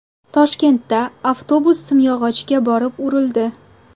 Toshkentda avtobus simyog‘ochga borib urildi.